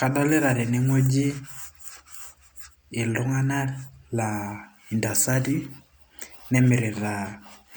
kadolita teneng'ueji iltung'anak laa intasati nemirita